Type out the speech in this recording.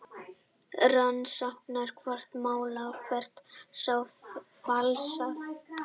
Rannsaka hvort málverk sé falsað